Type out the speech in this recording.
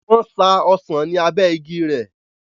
wọ́n sa ọsàn ní abẹ́ igi rẹ̀